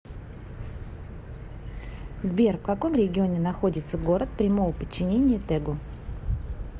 сбер в каком регионе находится город прямого подчинения тэгу